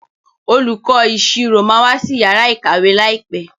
Olùkó ìṣirò má wá sí Yàrá ìkàwé láìpé.